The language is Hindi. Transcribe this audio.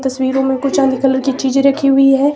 तस्वीरों में कुछ चांदी कलर के चीजें रखी हुई है।